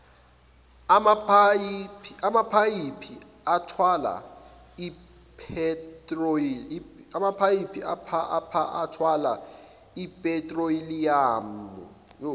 amaphayiphi athwala iphethroliyamu